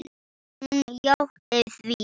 Hún játti því.